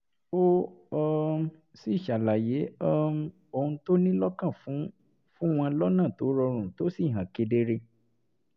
ó um sì ṣàlàyé um ohun tó ní lọ́kàn fún fún wọn lọ́nà tó rọrùn tó sì hàn kedere